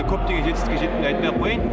көптеген жетістікке жеттім деп айтпай ақ қояйын